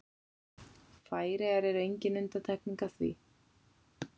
Færeyjar eru engin undantekning á því.